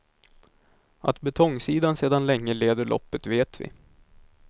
Att betongsidan sedan länge leder loppet vet vi.